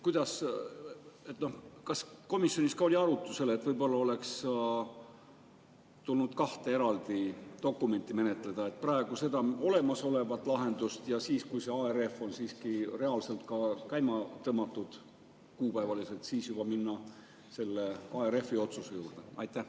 Kas komisjonis oli arutusel, et võib-olla oleks tulnud menetleda kahte eraldi dokumenti: praegu seda olemasolevat lahendust ja siis, kui ARF on siiski reaalselt, kuupäevaliselt käima tõmmatud, minna juba selle ARF-i otsuse juurde?